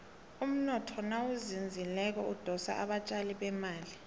umnotho nawuzinzileko udosa abatjali bemali